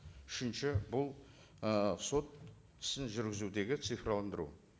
үшінші бұл ы сот ісін жүргізудегі цифрландыру